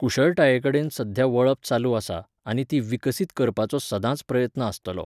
कुशळटाये कडेन सद्या वळप चालू आसा आनी ती विकसीत करपाचो सदांच प्रयत्न आसतलो.